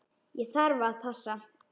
Ég þarf að passa.